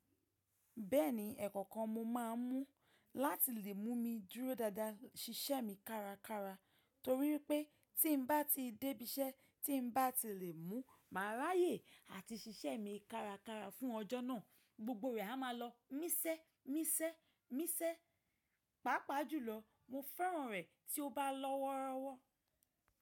Bẹ́ẹ̀ni ẹ̀ẹ̀kọ̀ọ̀kan móò máa ń mu, láti lè mú mi dúró dáadáa ṣiṣẹ́ mi kárakára, torí wípé tí n báà ti dé b'íṣẹ́, tí n báà ti lè mu, màá ráyè àti ṣiṣẹ́ mi kárakára fún ọjọ́ náà, gbogbo rẹ̀ẹ̀ a máa lọ mísẹ́, mísẹ́, mísẹ́, pàápàá jùlọ mo fẹ́ràn rẹ̀ tí ó bá lọ́woọ́rọ́wọ́.